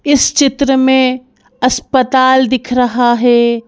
इस चित्र में अस्पताल दिख रहा है।